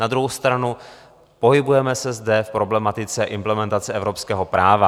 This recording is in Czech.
Na druhou stranu pohybujeme se zde v problematice implementace evropského práva.